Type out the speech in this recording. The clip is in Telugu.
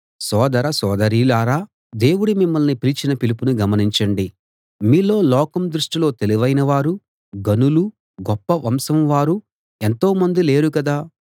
సోదర సోదరీలారా దేవుడు మిమ్మల్ని పిలిచిన పిలుపును గమనించండి మీలో లోకం దృష్టిలో తెలివైనవారు ఘనులు గొప్ప వంశం వారు ఎంతోమంది లేరు కదా